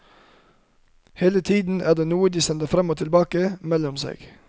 Hele tiden er det noe de sender frem og tilbake mellom seg.